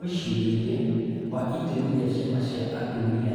Mwĩcirĩrie wa itemi rĩa ciama cia atumia